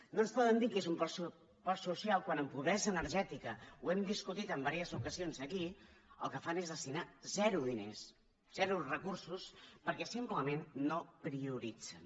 no ens poden dir que és un pressupost social quan en pobresa energètica ho hem discutit en diverses ocasions aquí el que fan és destinar zero diners zero recursos perquè simplement no prioritzen